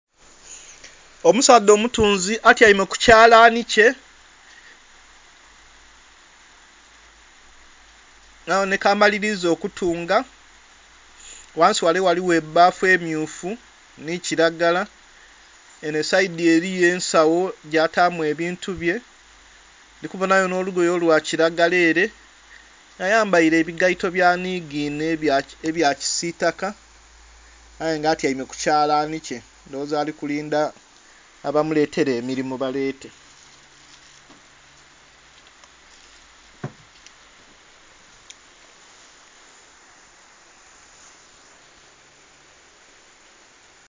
Omusaadha omutunzi atyeime kukyalanhi kye nga abonheka amaliliza okutunga ghansi ghale ghaligho bbafu emmyufu nhi kilagala enho seidhi eliyo ensagho gyatamu ebintu bye ndhi kubonha gho nho lugoye olwa kilagala ere nga ayambeile enigeeto byanhiginha ebya kisitaka aye nga atyeime ku kyalanhi kye ndhoghoza alikulindha abamuletela ekilimu abalete.